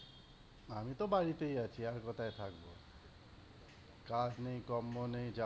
আমিতো বাড়িতেই আছি, আর কোথায় থাকবো। কাজ নেই, কম্ম নেই